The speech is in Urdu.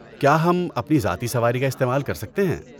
کیا ہم اپنی ذاتی سواری کا استعمال کر سکتے ہیں؟